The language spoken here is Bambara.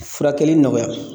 Furakɛli nɔgɔya